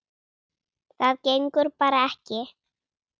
Það gengur bara ekki.